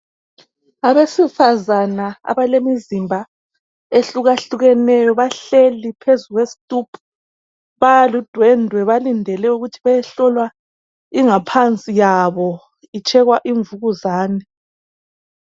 Abesifazana abalemizimba ehlukahlukeneyo bahleli phezu kwesitubhu baludwendwe balindele ukuthi bayehlolwa ingaphansi yabo betshekwa imvukuzane.